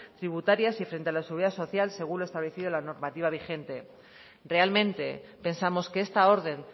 tributarias y frente a la seguridad social según lo establecido en la normativa vigente realmente pensamos que esta orden